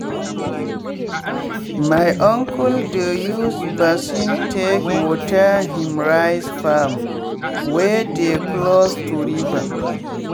my uncle dey use basin take water him rice farm wey dey close to river.